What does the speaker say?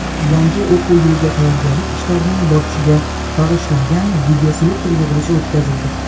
yangi o‘quv yiliga tayyorgarlik ishlarining borishiga bag‘ishlangan videoselektor yig‘ilishi o‘tkazildi.